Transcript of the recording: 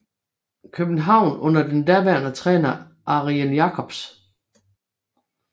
København under den daværende træner Ariël Jacobs